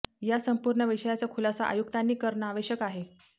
या संपूर्ण विषयाचा खुलासा आयुक्तांनी करणं आवश्यक आहे